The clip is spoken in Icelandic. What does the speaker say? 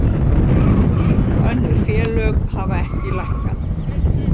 Önnur félög hafa ekki lækkað